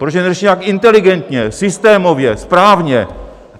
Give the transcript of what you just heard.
Proč je neřeší nějak inteligentně, systémově, správně?